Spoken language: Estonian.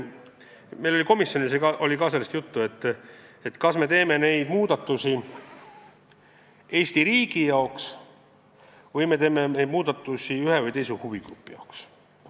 Meil oli komisjonis ka sellest juttu, kas me teeme neid muudatusi Eesti riigi hüvanguks või me teeme neid muudatusi ühe või teise huvigrupi hüvanguks.